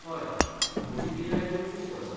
हय, म्हजी पिराय पंचवीस वर्सां